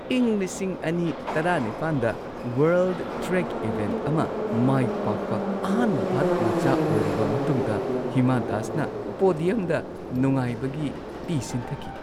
ꯏꯪ ꯲꯰꯱꯸ꯗ world track event ꯑꯃ ꯃꯥꯏ ꯄꯥꯛꯄ ꯑꯍꯥꯟꯕ ꯚꯥꯔꯠ ꯃꯆꯥ ꯑꯣꯏꯔꯕ ꯃꯇꯨꯡꯗ ꯍꯤꯃꯥ ꯗꯥꯁꯅ ꯄꯣꯗꯤꯌꯝꯗ ꯅꯨꯡꯉꯥꯏꯕꯒꯤ ꯄꯤ ꯁꯤꯟꯊꯈꯤ ꯫